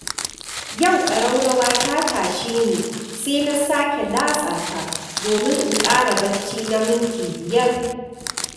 Yau ƙaraurawa ta tashe ni, saina sake latsa ta domin in ƙara bacci na minti biyar.